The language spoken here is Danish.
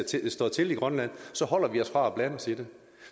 står til i grønland så holder vi os fra at blande os i det